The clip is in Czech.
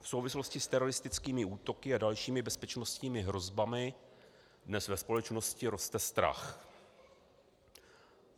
V souvislosti s teroristickými útoky a dalšími bezpečnostními hrozbami dnes ve společnosti roste strach.